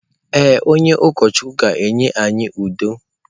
Ee, onye ụkọchukwu ga-enye anyị udo.